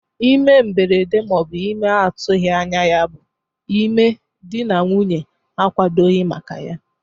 Ime mgberede ma ọ bụ ime a na-atụghị anya ya bụ ime dị na nwunye na-akwadoghi maka ya.